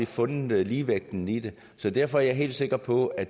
fundet ligevægten i det så derfor er jeg helt sikker på at